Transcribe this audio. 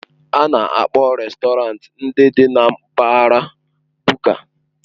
A na-akpọ rèstọrantị ndị dị na mpaghara Buka.